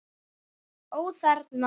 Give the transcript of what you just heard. Ó: Þerna?